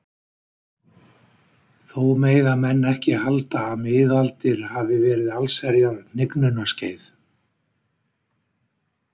Þó mega menn ekki halda að miðaldir hafi verið allsherjar hnignunarskeið.